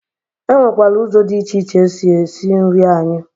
E nwekwara ụzọ dị iche iche esi esi nri anyị